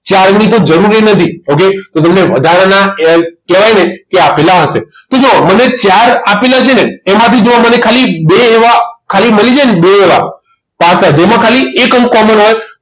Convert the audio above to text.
ચાર ની તો જરૂર એ નથી okay તો તમને વધારાના કહેવાય ને કે આપેલા હશે તો જુઓ મને ચાર આપેલા છે ને એમાંથી જુઓ મને ખાલી બે એવા ખાલી મલી જાય ને બે એવા પાસા જેમાં ખાલી એક અંક common હોય